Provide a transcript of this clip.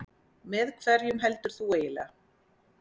Með hverjum heldur þú eiginlega?